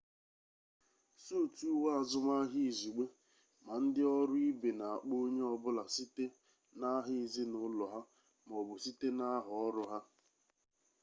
suutu uwe azụmaahịa izugbe ma ndị ọrụ ibe na-akpọ onye ọ bụla site n'aha ezinụlọ ha ma ọ bụ site n'aha ọrụ ha